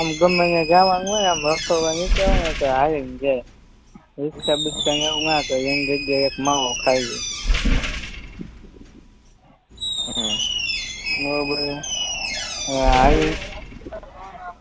આમ ગમેન્યા જાવાનું હોય આમ રખડવા નીકડા હોય ને એટલે હાલીને જાયે રિક્ષ બિક્ષને એવું ના કર્યે એની જગ્યાએ એક માવો ખાય લયે હમ બરોબરહે હવ હાલીન